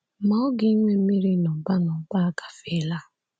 Ma oge ịnwe mmiri n’ụba n’ụba agafeela.